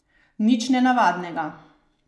Nič nenavadnega.